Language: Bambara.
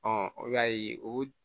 o y'a ye o